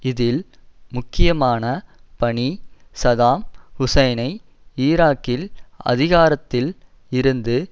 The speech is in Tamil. இதில் முக்கியமான பணி சதாம் ஹுசைனை ஈராக்கில் அதிகாரத்தில் இருந்து